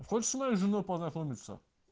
хочешь с моей женой познакомиться